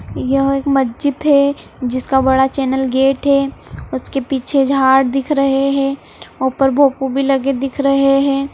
यह एक मस्जिद है जिसका बड़ा चेनल गेट हे | उसके पीछे झाड़ दिख रहे हैं | ऊपर भोंपू भी लगे दिख रहे हैं ।